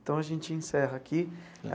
Então, a gente encerra aqui.